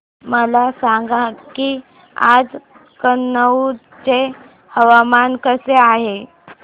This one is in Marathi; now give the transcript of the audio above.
मला सांगा की आज कनौज चे हवामान कसे आहे